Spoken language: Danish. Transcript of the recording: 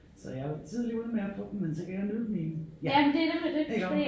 Så jeg var tidligt ude med at få dem men så kan jeg nyde dem i ja iggå